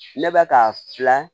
Ne bɛ ka fila